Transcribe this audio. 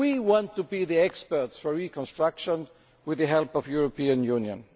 We want to be the experts for reconstruction with the help of the European Union'.